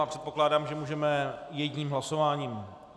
A předpokládám, že můžeme jedním hlasováním.